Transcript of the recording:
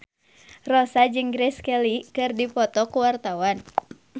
Rossa jeung Grace Kelly keur dipoto ku wartawan